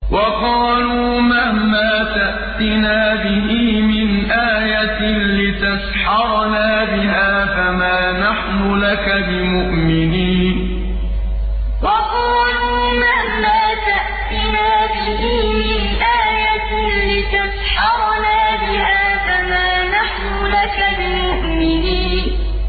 وَقَالُوا مَهْمَا تَأْتِنَا بِهِ مِنْ آيَةٍ لِّتَسْحَرَنَا بِهَا فَمَا نَحْنُ لَكَ بِمُؤْمِنِينَ وَقَالُوا مَهْمَا تَأْتِنَا بِهِ مِنْ آيَةٍ لِّتَسْحَرَنَا بِهَا فَمَا نَحْنُ لَكَ بِمُؤْمِنِينَ